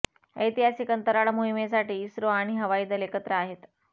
ऐतिहासिक अंतराळ मोहीमेसाठी इस्रो आणि हवाई दल एकत्र आहेत